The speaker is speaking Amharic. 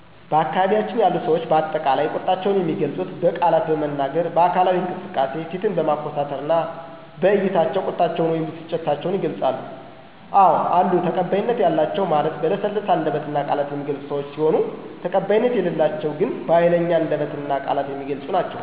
በአካባቢያችን ያሉ ሰዎች በአጠቃላይ ቁጣቸውን የሚገልፁት በቃላት በመናገር፣ በአካላዊ እንቅስቃሴ፣ ፊትን በማኮሳተርና በዕይታቸው ቁጣቸውን ወይም ብስጭታቸውን ይገልፃሉ። አዎ አሉ ተቀባይነት ያላቸው ማለት በለሰለሰ አንደበትና ቃላት የሚገለፁ ሲሆን ተቀባይነት የሌላቸው ግን በሀይለኛ አንደበትና ቃላት የሚገለፁ ናቸው።